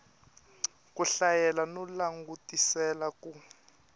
ku hlayela no langutisela ku